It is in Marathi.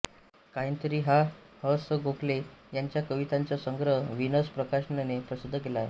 कांहींतरी हा ह स गोखले यांच्या कवितांचा संग्रह व्हीनस प्रकाशनने प्रसिद्ध केला आहे